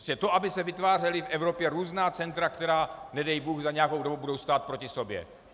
To, aby se vytvářela v Evropě různá centra, která nedej bůh za nějakou dobu budou stát proti sobě.